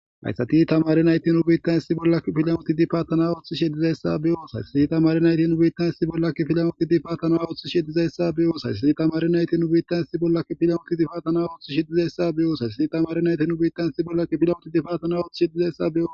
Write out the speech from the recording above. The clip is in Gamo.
Haysi tamare nayti nu bitan issi bolla kifilan utidi fatana othishe dizaysa beyos Haysi tamare nayti nu bitan issi bolla kifilan utidi fatana othishe dizaysa beyos Haysi tamare nayti nu bitan issi bolla kifilan utidi fatana othishe dizaysa beyos Haysi tamare nayti nu bitan issi bolla kifilan utidi fatana othishe dizaysa beyos Haysi tamare nayti nu bitan issi bolla kifilan utidi fatana othishe dizaysa beyos